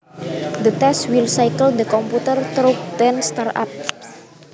The test will cycle the computer through ten start ups